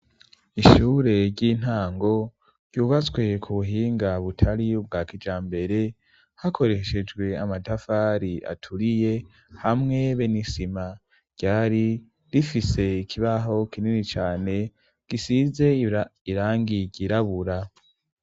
Ishure ry'intango ryubaswe ku buhinga butari bwa kijambere hakoreshejwe amadavari aturiye hamwe benisima ryari rifise ikibaho kinini cyane gisize irangigirabura.